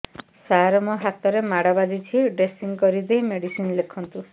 ସାର ମୋ ହାତରେ ମାଡ଼ ବାଜିଛି ଡ୍ରେସିଂ କରିଦେଇ ମେଡିସିନ ଲେଖନ୍ତୁ